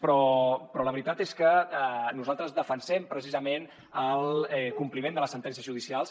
però la veritat és que nosaltres defensem precisament el compliment de les sentències judicials